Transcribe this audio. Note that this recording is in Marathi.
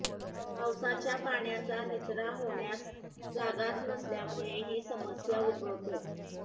पावसाच्या पाण्याचा निचरा होण्यास जागाच नसल्यामुळे ही समस्या उद्भवते